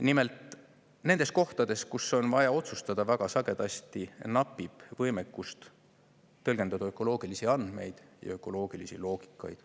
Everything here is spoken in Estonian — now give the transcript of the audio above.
Nimelt, nendel juhtudel, kus on vaja otsustada, väga sagedasti napib võimekust tõlgendada ökoloogilisi andmeid ja ökoloogilisi loogikaid.